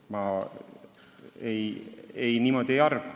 Mina niimoodi ei arva.